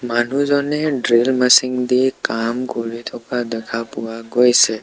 মানুহজনে drill machine দি কাম কৰি থকা দেখা পোৱা গৈছে।